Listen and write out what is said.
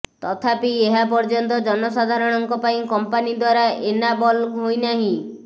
ତଥାପି ଏହା ଏପର୍ଯ୍ୟନ୍ତ ଜନସାଧାରଣଙ୍କ ପାଇଁ କମ୍ପାନୀ ଦ୍ବାରା ଏନାବଲ ହୋଇନାହିଁ